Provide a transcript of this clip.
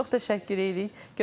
Çox təşəkkür edirik.